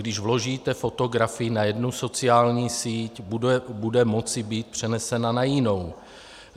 Když vložíte fotografii na jednu sociální síť, bude moci být přenesena na jinou.